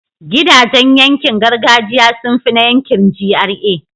gidajan yankin gargajiya sunfi na yankin GRA